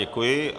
Děkuji.